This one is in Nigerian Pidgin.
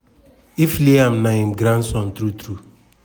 if liam na im grandson true true.